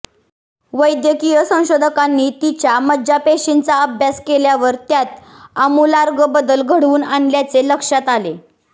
वैद्यकीय संशोधकांनी तिच्या मज्जापेशींचा अभ्यास केल्यावर त्यात आमूलाग्र बदल घडून आल्याचे लक्षात आले